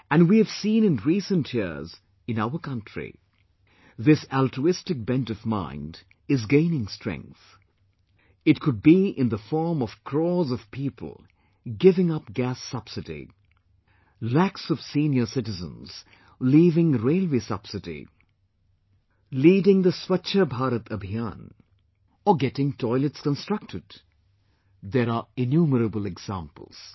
And we have seen in recent years in our country, this altruistic bent of mind is gaining strength...it could be in the form of crores of people giving up Gas Subsidy, lakhs of senior citizen leaving Railway Subsidy, leading the 'Swachcha Bharat Abhiyan' or getting toilets constructed ...there are innumerable examples